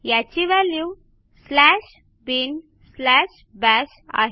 याची value slash bin slash bash आहे